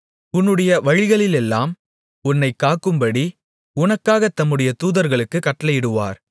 உன்னுடைய வழிகளிலெல்லாம் உன்னைக் காக்கும்படி உனக்காகத் தம்முடைய தூதர்களுக்குக் கட்டளையிடுவார்